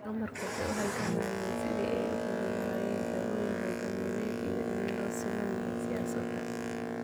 Dumarku waxay u halgamayeen sidii ay u heli lahaayeen jagooyin hoggaamineed iyo in loo siman yahay siyaasadda.